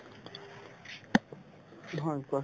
নহয় কোৱা